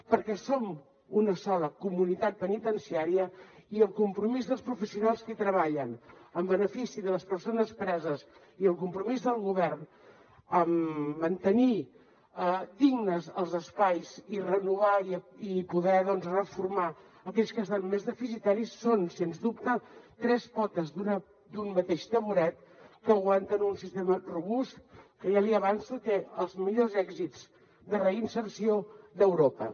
perquè som una sola comunitat penitenciària i el compromís dels professionals que treballen en benefici de les persones preses i el compromís del govern en mantenir dignes els espais i renovar i poder reformar aquells que estan més deficitaris són sens dubte tres potes d’un mateix tamboret que aguanten un sistema robust que ja li avanço que té els millors èxits de reinserció d’europa